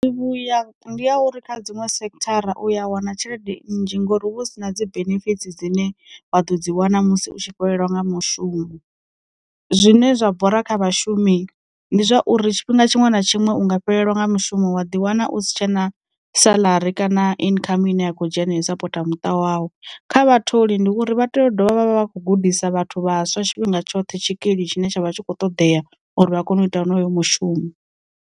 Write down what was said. Vhuya ndi ya uri kha dziṅwe sekhithara uya wana tshelede nnzhi ngori huvha hu si na dzi benefits dzine wa ḓo dzi wana musi u tshi fhelelwa nga mushumo. Zwine zwa bora kha vhashumi, ndi zwauri tshifhinga tshiṅwe na tshiṅwe unga fhelelwa nga mushumo wa ḓi wana u si tshena salari kana income ine ya kho dzhena yo sapota muṱa wau, kha vhatholi ndi uri vha tea u dovha vha vha vha kho gudisa vhathu vhaswa tshifhinga tshoṱhe tshikili tshine tsha vha tshi kho ṱodea uri vha kone u ita honoyo mushumo.